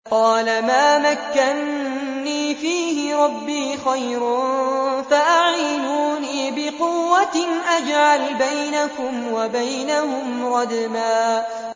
قَالَ مَا مَكَّنِّي فِيهِ رَبِّي خَيْرٌ فَأَعِينُونِي بِقُوَّةٍ أَجْعَلْ بَيْنَكُمْ وَبَيْنَهُمْ رَدْمًا